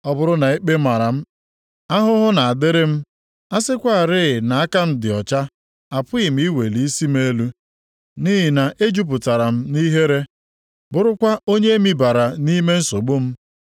Ọ bụrụ na ikpe mara m, ahụhụ na-adịrị m! A sịkwarị na aka m dị ọcha, apụghị m iweli isi m elu nʼihi na ejupụtara m nʼihere, bụrụkwa onye e mibara nʼime nsogbu m.